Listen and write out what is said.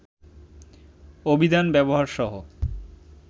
অভিধান ব্যবহার সহ